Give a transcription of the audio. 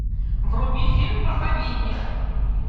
вруби фильм проповедник